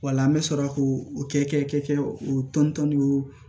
Wala an bɛ sɔrɔ k'o kɛ o tɔn ni o